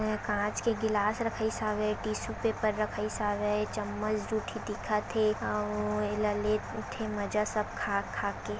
कांच के ग्लास रखाईस हवे टिशु पेपर रखाईस हवे चमच जूठी दिखत हे अउ एला लेगठे मजा सब खा खा के--